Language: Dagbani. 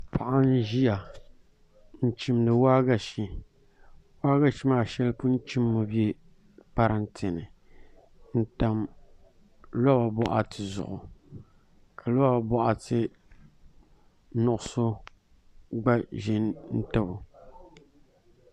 Paɣa n ʒiya n chimdi waagashe waagashe maa shɛli pun chimmi bɛ parantɛ ni n tam loba boɣati zuɣu ka liba boɣati nuɣso gba ʒi n tabo